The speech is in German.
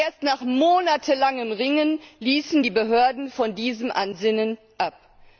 Erst nach monatelangem Ringen ließen die Behörden von diesem Ansinnen ab.